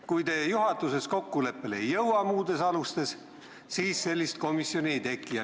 Kui te ei jõua juhatuses kokkuleppele muudes alustes, siis sellist komisjoni ei teki.